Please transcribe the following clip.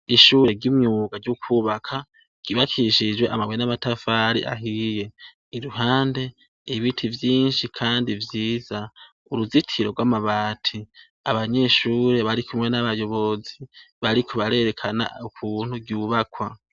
Ishure ry'imyuga ryo kwubaka, ryubakishijwe amabuye n'amatafari ahiye. Iruhande, ibiti vyinshi kandi vyiza. Uruzitiro rw'amabati. Abanyeshure barikumwe n'abayobozi, bariko barerekana ukuntu ryubakwa.